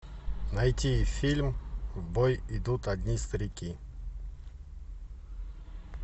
найти фильм в бой идут одни старики